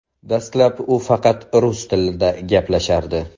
Dastlab u faqat rus tilida gaplashardi.